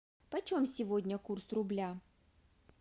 почем сегодня курс рубля